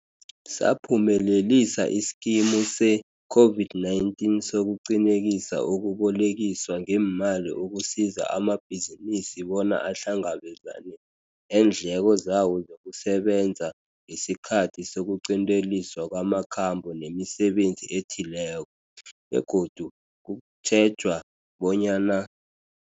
Saphumelelisa iSkimu se-COVID-19 soku Qinisekisa ukuBolekiswa ngeeMali ukusiza amabhizinisi bona ahlangabezane neendleko zawo zokusebenza ngesikhathi sokuqinteliswa kwama khambo nemisebenzi ethileko, begodu kutjhejwa bonyana